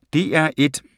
DR1